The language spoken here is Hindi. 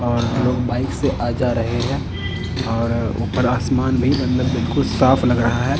और लोग बाइक से आ जा रहे हैं और ऊपर आसमान भी मतलब बिल्कुल साफ लग रहा है।